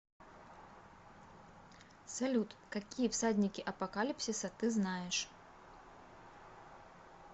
салют какие всадники апокалипсиса ты знаешь